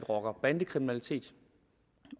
rocker og bandekriminalitet